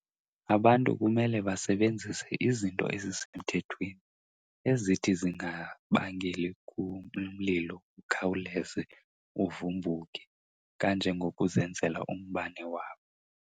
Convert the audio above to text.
Abantu kumele basebenzise izinto ezisemthethweni ezithi zingabangeli umlilo ukhawuleze uvumbukhe kanjengokuzenzela umbane wabo.